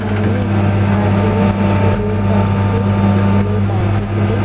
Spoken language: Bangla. সামনে দূরে কিছু লোক যাচ্ছে সাইকেল -এ বাইক -এ করে।